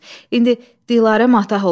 İndi Dilarə matah olub.